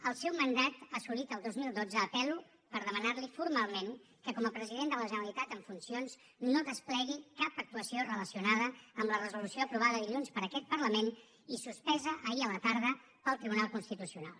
al seu mandat assolit al dos mil dotze apel·lo per demanar li formalment que com a president de la generalitat en funcions no desplegui cap actuació relacionada amb la resolució aprovada dilluns per aquest parlament i suspesa ahir a la tarda pel tribunal constitucional